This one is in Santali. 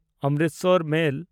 ᱚᱢᱨᱤᱥᱚᱨ ᱢᱮᱞ